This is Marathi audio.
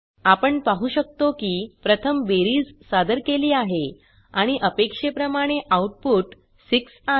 आपण पाहु शकतो की प्रथम बेरीज सादर केली आहे आणि अपेक्षेप्रमाणे आऊटपुट 6 आहे